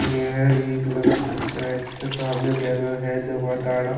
ये एक नगर परिषद के सामने बैनर है--